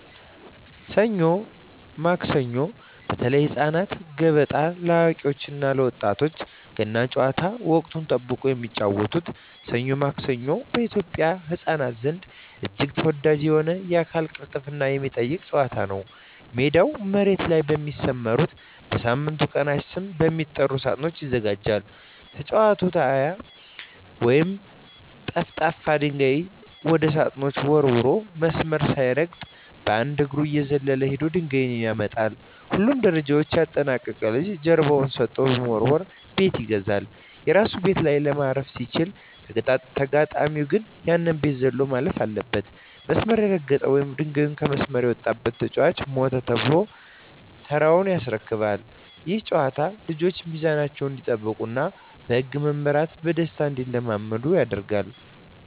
ሰኞ ማክሰኞ (በተለይ ለህፃናት)፣ገበጣ (ለአዋቂዎች እና ለወጣቶች)፣ ገና ጨዋታ (ወቅትን ጠብቆ የሚጫወቱት) "ሰኞ ማክሰኞ" በኢትዮጵያ ህፃናት ዘንድ እጅግ ተወዳጅ የሆነና የአካል ቅልጥፍናን የሚጠይቅ ጨዋታ ነው። ሜዳው መሬት ላይ በሚሰመሩና በሳምንቱ ቀናት ስም በሚጠሩ ሳጥኖች ይዘጋጃል። ተጫዋቹ "ጢያ" ወይም ጠፍጣፋ ድንጋይ ወደ ሳጥኖቹ ወርውሮ፣ መስመር ሳይረግጥ በአንድ እግሩ እየዘለለ ሄዶ ድንጋዩን ያመጣል። ሁሉንም ደረጃዎች ያጠናቀቀ ልጅ ጀርባውን ሰጥቶ በመወርወር "ቤት ይገዛል"። የራሱ ቤት ላይ ማረፍ ሲችል፣ ተጋጣሚው ግን ያንን ቤት ዘሎ ማለፍ አለበት። መስመር የረገጠ ወይም ድንጋዩ ከመስመር የወጣበት ተጫዋች "ሞተ" ተብሎ ተራውን ያስረክባል። ይህ ጨዋታ ልጆች ሚዛናቸውን እንዲጠብቁና በህግ መመራትን በደስታ እንዲለማመዱ ይረዳል።